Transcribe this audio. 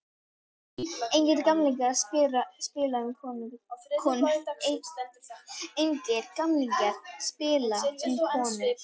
Engir gamlingjar að spila um konur.